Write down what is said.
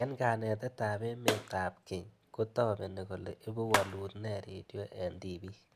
Eng' kanetet ab emet ab kenye ko tabeni kole ipu walut nee radiot eng' tipik